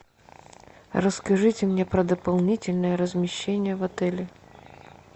расскажите мне про дополнительное размещение в отеле